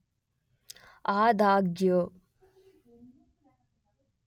ಆದಾಗ್ಯೂ